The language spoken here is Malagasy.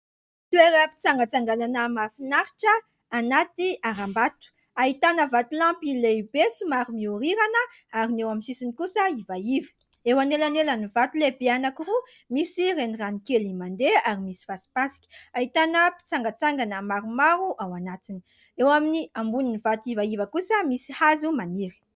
Toeram _pitsangatsanganana mafinaritra anaty haram mbato ahitana vatolampy lehibe somary mihorirana ary ny eo amin'ny sisiny kosa ivaiva . Eo anelanelan'ny vato lehibe anakiroa misy renirano kely mandeha ary misy fasipasika ahitana mpitsangatsangana maromaro ao anatiny ,eo amin'ny ambonin'ny vato ivaiva kosa misy hazo maniry.